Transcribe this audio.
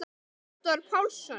Halldór Pálsson